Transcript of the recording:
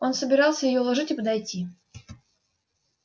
он собирался её уложить и подойти